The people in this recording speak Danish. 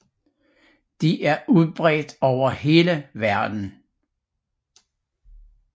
De er udbredt over hele verden